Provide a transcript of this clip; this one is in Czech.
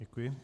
Děkuji.